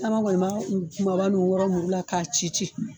Caman kɔni b'a u kumaba nun wɔɔrɔ muru la k'a ci ci